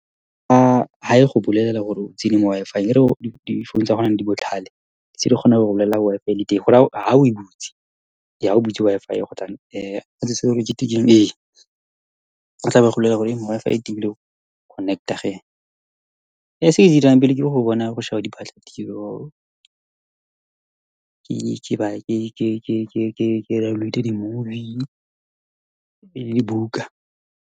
Ha e go bolelela gore o tsene mo WI-FI difounu tsa gone jaanong di botlhale tse di kgonang go go bolelela WI-FI ele teng gore ha oe butse, Ee, ha o butse Wi-Fi , o tlabe a go bolelela gore monna Wi-Fi e connect-a , se ke se dirang pele ke go bona, go sheba diphatlatiro , ke download-e di-movie le dibuka.